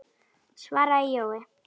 svaraði Jói.